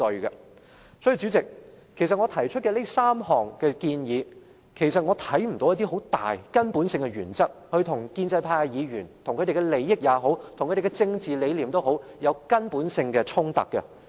因此，主席，其實我提出這3項建議，在根本性的原則上，我看不到與建制派議員的利益或政治理念，有很大和根本性的衝突。